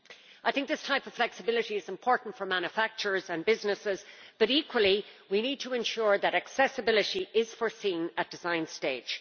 I think this type of flexibility is important for manufacturers and businesses but, equally, we need to ensure that accessibility is foreseen at the design stage.